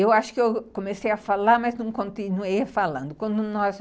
Eu acho que comecei a falar, mas não continuei falando. Quando nós